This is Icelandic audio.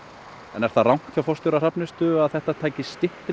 er það rangt hjá forstjóra Hrafnistu að þetta tæki styttri